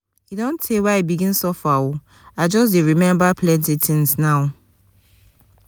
e don tee wey i begin suffer o i just dey remember plenty tins now.